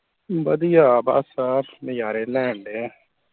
ਵਧੀਆ ਬਸ ਆ ਨਜਾਰੇ ਲੈਣ ਦੇ ਆ